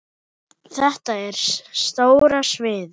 Þetta er stóra sviðið.